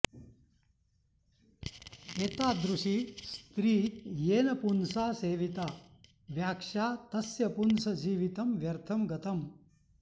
एतादृशी स्त्री येन पुंसा सेविता व्याक्षा तस्य पुंसः जीवितं व्यर्थं गतम्